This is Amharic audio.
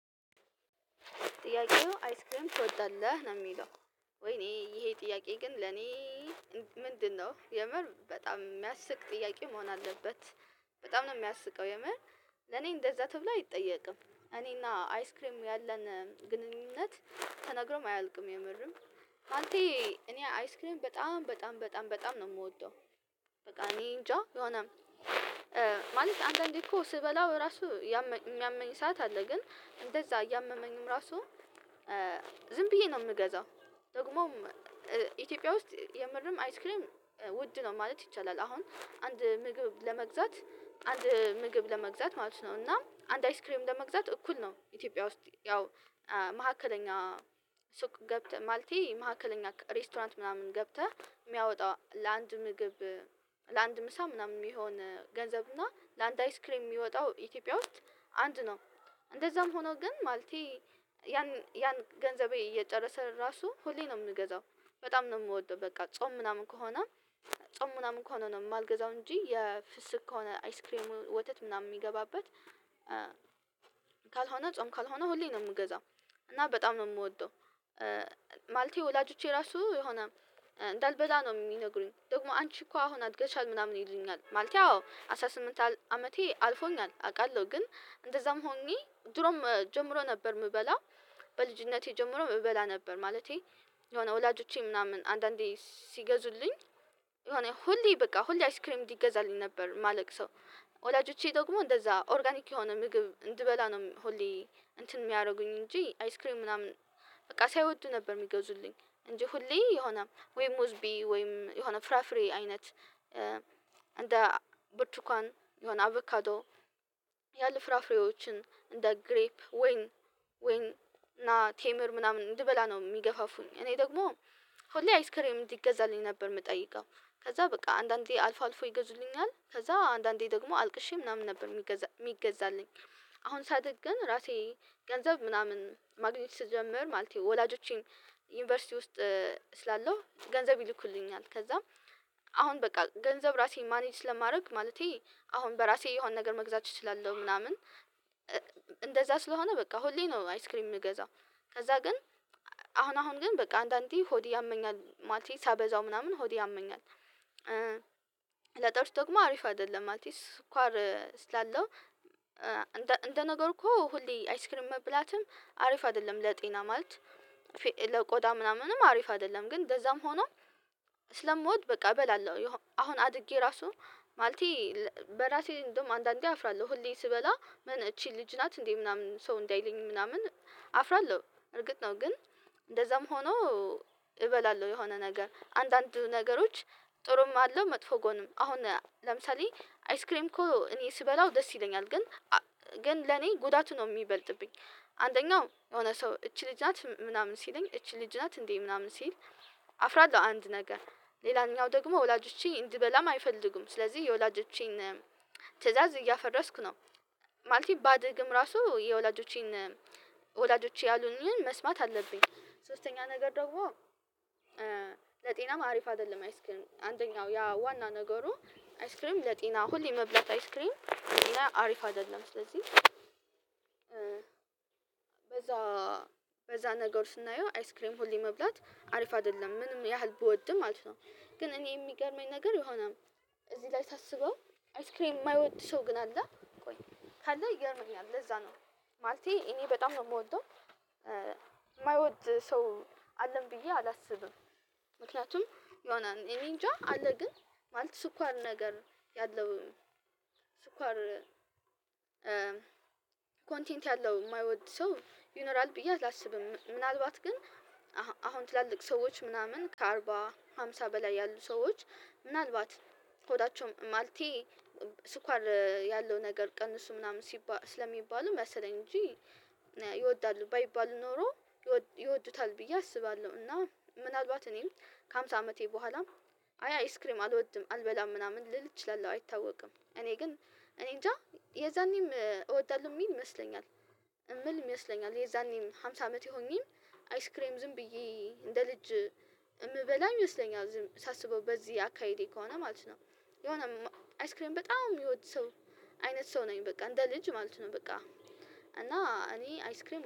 ጥያቄው አይስክሪም ትወጣለህ ነው የሚለው? ወይኔ ይሄ ጥያቄ ግን ለኔ ምንድነው የምር በጣም የሚያስቅ ጥያቄ መሆን አለበት። በጣም ነው የሚያስቀው የምር። ለኔ እንደዛ ተብሎ አይጠየቅም እኔና አይስክሬም ያለን ግንኙነት ተነግሮም አያልቅም የምርም። አልቴ እኔ አይስክሪንግ በጣም በጣም በጣም በጣም ነው የምወደው። በቃ እኔ እንጃ የሆነም ማለት አንዳንዴ እኮ ስበላው እራሱ የሚያመኝ ሰዓት አለ ግን እንደዛ እያመመኝም ራሱ ዝም ብዬ ነው የምገዛው። ደግሞም ኢትዮጵያ ውስጥ የምርም አይስክሪም ውድ ነው ማለት ይቻላል። አሁን አንድ ምግብ ለመግዛት አንድ ምግብ ለመግዛት ማለት ነው እና አንድ አይስክሬም ለመግዛት እኩል ነው። ኢትዮጵያ ውስጥ ያው መካከለኛ ሱቅ ገብተህ ማልቴ መካከለኛ ሬስቶራንት ምናምን ገብተህ የሚያወጣው ለአንድ ምግብ ለአንድ ምሳ ምናምን የሚሆን ገንዘብ እና ለአንድ አይስክሬም የሚወጣው ኢትዮጵያ ውስጥ አንድ ነው። እንደዛም ሆኖ ግን ማለቴ ያን ገንዘቤ እየጨረሰ ራሱ ሁሌ ነው የምንገዛው። በጣም ነው የምወደው በቃ ጾም ምናምን ከሆነ ጾም ምናምን ከሆነ ነው የማልገዛው እንጂ የፍስቅ ከሆነ አይስክሬሙ ወተት ምናምን የሚገባበት ካልሆነ ጾም ካልሆነ ሁሌ ነው የምገዛው እና በጣም ነው የምወደው። ማለቴ ወላጆቼ ራሱ የሆነ እንዳልበላ ነው የሚነግሩኝ ደግሞ አንቺ እኮ አሁን አትገዛም ምናምን ይሉኛል ማለቴ አዎ አስራ ስምንት አመቴ አልፎኛል አውቃለሁ ግን እንደዛም ሆኜ ድሮም ጀምሮ ነበር የምበላው። በልጅነቴ ጀምሮ የምበላ ነበር ማለቴ የሆነ ወላጆቼ ምናምን አንዳንዴ ሲገዙልኝ የሆነ ሁሌ በቃ ሁሌ አይስክሪም እንዲገዛልኝ ነበር የማለቅሰው። ወላጆቼ ደግሞ እንደዛ ኦርጋኒክ የሆነ ምግብ እንድበላ ነው ሁሌ እንትን የሚያደርጉኝ እንጂ አይስክሪንግ ምናምን በቃ ሳይወዱ ነበር የሚገዙልኝ። እንጂ ሁሌ የሆነ ወይ ሙዝ ብይ ወይ የሆነ ፍራፍሬ አይነት እንደ ብርቱካን የሆነ አቩካቶ ያሉ ፍራፍሬዎችን እንደ ግሬፕ ወይን ወይን ቴምር ምናምን እንድበላ ነው የሚገፋፉኝ። እኔ ደግሞ ሆሌ አይስክሬም እንዲገዛልኝ ነበር የምጠይቀው ከዛ በቃ አንዳንዴ አልፎ አልፎ ይገዙልኛል ከዛ አንዳንዴ ደግሞ አልቅሼ ምናምን ነበር የሚገዛ የሚገዛልኝ። አሁን ሳደግ ግን ራሴ ገንዘብ ምናምን ማግኘት ስጀምር ማለት የወላጆቼን ዩኒቨርሲቲ ውስጥ ስላለው ገንዘብ ይልኩልኛል ከዛም አሁን በቃ ገንዘብ ራሴን ማኔጅ ስለማድረግ ማለቴ አሁን በራሴ የሆነ ነገር መግዛት እችላለሁ። ምናምን እንደዛ ስለሆነ በቃ ሁሌ ነው አይስክሪም የምገዛው። ከዛ ግን አሁን አሁን ግን በቃ አንዳንዴ ሆድ ያመኛል ማለት ነው ሳበዛው ምናምን ሆድ ያመኛል። ለጥርስ ደግሞ አሪፍ አይደለም አቲስ ኳር ስላለው እንደ ነገር እኮ ሁሌ አይስክሪንግ መብላትም አሪፍ አይደለም ለጤና ማለት ለቆዳ ምናምንም አሪፍ አይደለም ግን እንደዛም ሆኖ ስለምወድ በቃ እበላለሁ። አሁን አድጌ ራሱ ማለቴ በራሴ እንደውም አንዳንዴ አፍራለሁ ሁሌ ስበላ ምን እቺ ልጅ ናት እንዴ ምናምን ሰው እንዳይለኝ ምናምን እርግጥ ነው ግን እንደዛም ሆኖ እበላለሁ። የሆነ ነገር አንዳንድ ነገሮች ጥሩም አለው መጥፎ ጎንም አሁን ለምሳሌ አይስክሬም እኮ እኔ ስበላው ደስ ይለኛል ግን ግን ለኔ ጉዳቱ ነው የሚበልጥብኝ። አንደኛው የሆነ ሰው እቺ ልጅ ናት ምናምን ሲለኝ እቺ ልጅ ናት እንዴ ምናምን ሲል አፍራለሁ አንድ ነገር ሌላኛው ደግሞ ወላጆቼ እንድበላም አይፈልጉም ስለዚህ የወላጆቼን ትእዛዝ እያፈረስኩ ነው። ማለት ባድግም ራሱ የወላጆቼን ወላጆቼ ያሉኝን መስማት አለብኝ። ሶስተኛ ነገር ደግሞ ለጤናማ አሪፍ አይደለም አይስክሪም አንደኛው ያ ዋና ነገሩ አይስክሪም ለጤና ሁሌ መብላት አይስክሪን አሪፍ አይደለም ስለዚህ በዛ በዛ ነገር ስናየው አይስክሬም ሁሌ መብላት አሪፍ አይደለም ምንም ያህል ብወድም ማለት ነው። ግን እኔ የሚገርመኝ ነገር የሆነም እዚህ ላይ ሳስበው አይስክሬን የማይወድ ሰው ግን አለ ቆይ ካለ ይገርመኛል ለዛ ነው ማለቴ እኔ በጣም ነው የምወደው። የማይወድ ሰው አለን ብዬ አላስብም ምክንያቱም ይሆናል እኔንጃ አለ ግን ማለት ስኳር ነገር ያለው ስኳር ያለው የማይወድ ሰው ይኖራል ብዬ አላስብም። ምናልባት ግን አሁን ትላልቅ ሰዎች ምናምን ከአርባ አምሳ በላይ ያሉ ሰዎች ምናልባት ሆዳቸው ማለቴ ያለው ነገር ቀን እሱ ምናምን ስለሚባል መሰለኝ እንጂ ይወዳሉ ባይባሉ ኖሮ ይወዱታል ብዬ አስባለሁ። እና ምናልባት እኔም ከሃምሳ አመቴ በኋላ አይ አይስክሬም አልወድም አልበላም ምናምን ልል እችላለሁ አይታወቅም እኔ ግን እኔ እንጃ የዛኔም እወዳለሁ የሚል ይመስለኛል። የሚል ይመስለኛል የዛኔም ሃምሳ አመት የሆኚም አይስክሬም ዝም ብዬ እንደ ልጅ የምበላኝ ይወስደኛል ሳስበው በዚህ አካሄዴ ከሆነ ማለት ነው። የሆነ አይስክሌም በጣም የሚወድ ሰው አይነት ሰው ነኝ በቃ እንደ ልጅ ማለት ነው በቃ። እና እኔ አይስክሬም